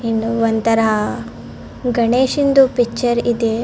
ಎನೊ ಒಂತರ ಗಣೇಶನಂದು ಪಿಚ್ಚರ್ ಇದೆ .